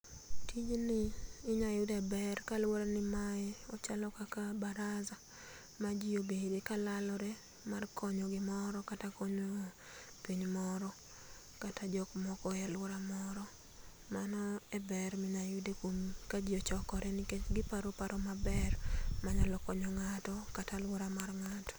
Tijni inyayude ber kaluore ni mae ochalo kaka baraza ma jii obade kalalore mar konyo gimoro kata konyo piny moro kata jok moko e aluora moro mano e ber minyalo yude kuom ka ji ochokore nikech giparo paro maber ma nyalo konyo ng'ato kata aluora mar ng'ato.